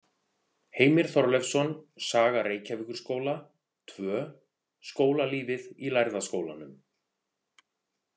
Heimir Þorleifsson, Saga Reykjavíkurskóla II: Skólalífið í Lærða skólanum.